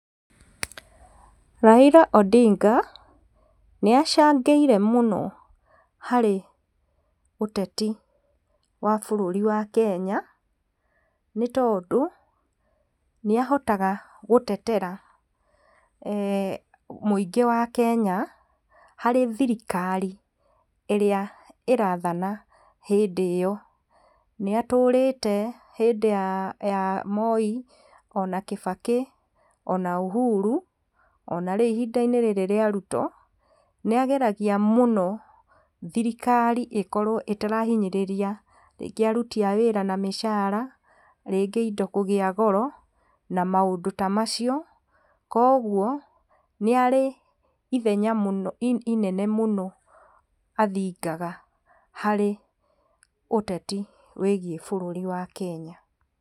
Raila Odinga nĩ acangĩre mũno harĩ ũtetĩ wa bũrũri wa Kenya nĩtondũ nĩahotaga gũtetera mũingi wa Kenya harĩ thĩrĩkari irĩa ĩrathana hĩndĩ iyó nĩ atũrĩte hĩndĩ ya Moi , Kibaki o na Uhuru o na rĩrĩ ihinda-inĩ rĩa Ruto nĩageragĩa mũno thĩrĩkarĩ ĩkorwo itarahĩnyĩrĩrĩa rĩngĩ arũtĩ a wĩra na mĩcara, rĩngĩ indo kũgĩa goro na maũndũ ta macio kwogũo nĩarĩ ithenya ĩnene mũno athĩngaga harĩ ũtetĩ wĩgie bũrũri wa Kenya.